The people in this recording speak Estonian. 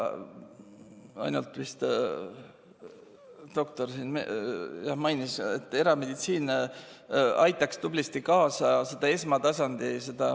Ainult vist doktor mainis, et erameditsiin aitaks tublisti kaasa esmatasandile.